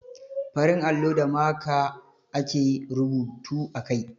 Farin allo da maka (marker) ake rubutu a kai.